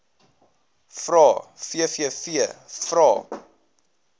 vrae vvv vrae